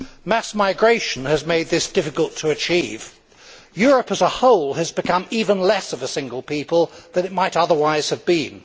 Mass migration has made this difficult to achieve. Europe as a whole has become even less of a single people than it might otherwise have been.